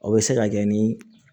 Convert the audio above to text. O bɛ se ka kɛ ni